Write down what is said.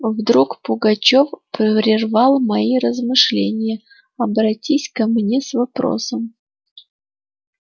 вдруг пугачёв прервал мои размышления обратись ко мне с вопросом